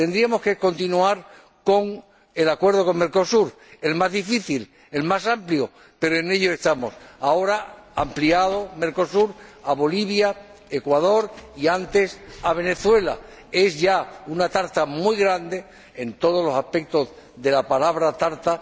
Tendríamos que continuar con el acuerdo con Mercosur, el más difícil, el más amplio, pero en ello estamos. Mercosur, ahora ampliado a Bolivia, Ecuador y, antes, a Venezuela, es ya una tarta muy grande en todos los aspectos de la palabra tarta.